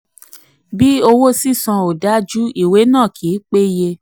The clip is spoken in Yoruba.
33. bí owó sísan ò dájú ìwé náà kì í péye.